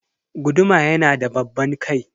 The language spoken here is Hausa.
Guduma yanada babban kai.